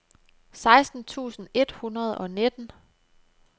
seksten tusind et hundrede og nitten